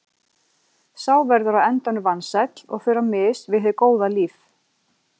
Sá verður á endanum vansæll og fer á mis við hið góða líf.